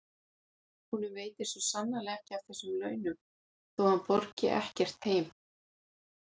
Honum veitir svo sannarlega ekki af þessum launum þó að hann borgi ekkert heim.